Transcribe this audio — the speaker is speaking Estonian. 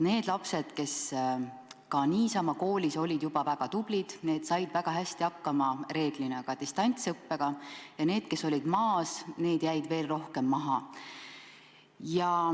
Need lapsed, kes ka niisama olid koolis väga tublid, said reeglina väga hästi hakkama ka distantsõppega, aga need, kes olid maas, jäid veel rohkem maha.